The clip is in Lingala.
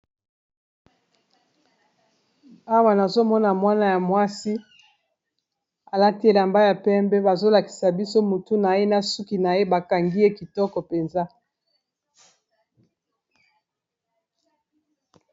Awa nazomona mwana ya mwasi alati elamba ya pembe bazolakisa biso mutu na ye na suki na ye bakangi ye kitoko mpenza.